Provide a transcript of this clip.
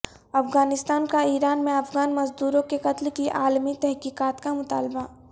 افغانستان کا ایران میں افغان مزدوروں کے قتل کی عالمی تحقیقات کا مطالبہ